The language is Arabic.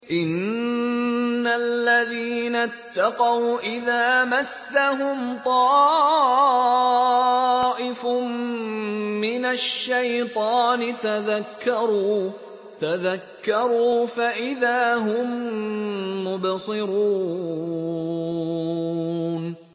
إِنَّ الَّذِينَ اتَّقَوْا إِذَا مَسَّهُمْ طَائِفٌ مِّنَ الشَّيْطَانِ تَذَكَّرُوا فَإِذَا هُم مُّبْصِرُونَ